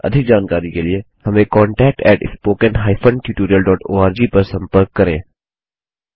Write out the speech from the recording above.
अधिक जानकारी के लिए हमें contactspoken tutorialorg पर संपर्क करें